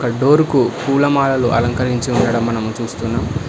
ఆ డోర్ కు పూలమాలలు అలంకరించి ఉండడం మనం చూస్తున్నాము.